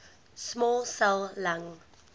small cell lung